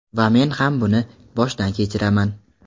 Va men ham buni boshdan kechiraman.